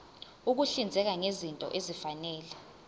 ukuhlinzeka ngezinto ezifanele